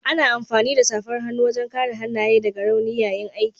Ana amfani da safar hannu wajen kare hannaye daga rauni yayin aiki.